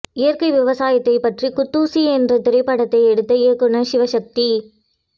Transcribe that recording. இயற்கை விவசாயத்தை பற்றி குத்தூசி என்ற திரைப்படத்தை எடுத்த இயக்குனர் சிவசக்தி